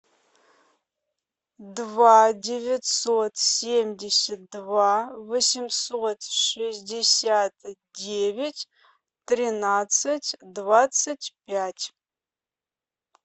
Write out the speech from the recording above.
два девятьсот семьдесят два восемьсот шестьдесят девять тринадцать двадцать пять